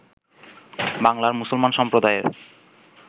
বাংলার মুসলমান সম্প্রদায়ের